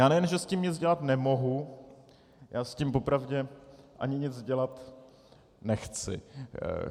Já nejen že s tím nic dělat nemohu, já s tím opravdu ani nic dělat nechci.